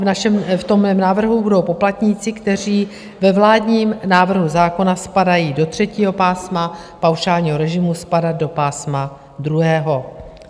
V mém návrhu budou poplatníci, kteří ve vládním návrhu zákona spadají do třetího pásma paušálního režimu, spadat do pásma druhého.